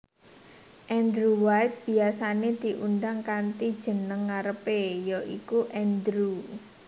Andrew White biyasané diundang kanthi jeneng ngarepé ya iku Andrew